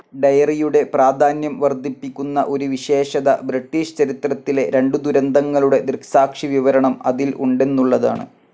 ഡയറിയുടെ പ്രാധാന്യം വർദ്ധിപ്പിക്കുന്ന ഒരു വിശേഷത ബ്രിട്ടീഷ് ചരിത്രത്തിലെ രണ്ടു ദുരന്തങ്ങളുടെ ദൃക്സാക്ഷിവിവരണം അതിൽ ഉണ്ടെന്നുള്ളതാണ്.